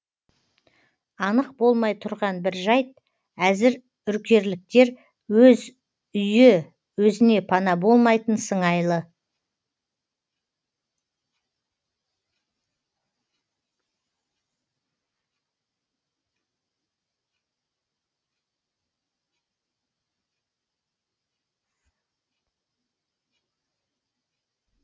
анық болмай тұрған бір жайт әзір үркерліктер өз үйі өзіне пана болмайтын сыңайлы